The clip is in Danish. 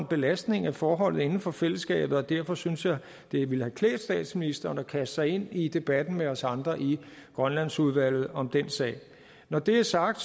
belastning af forholdet inden for fællesskabet derfor synes jeg det ville have klædt statsministeren at kaste sig ind i debatten med os andre i grønlandsudvalget om den sag når det er sagt